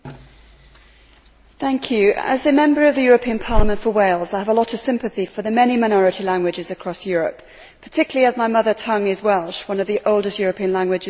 Mr President, as a Member of the European Parliament for Wales, I have a lot of sympathy for the many minority languages across Europe, particularly as my mother tongue is Welsh, one of the oldest European languages still in use.